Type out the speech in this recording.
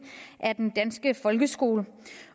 af den danske folkeskole